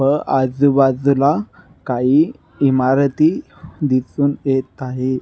व अजु बाजुला काही इमारती दिसुन येत आहे.